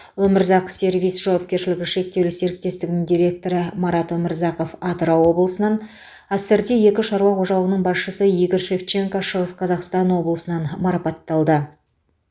өмірзақ сервис жауапкершілігі шектеулі серіктестігінің директоры марат өмірзақов атырау облысынан ассорти екі шаруа қожалығының басшысы игорь шевченко шығыс қазақстан облысынан марапатталды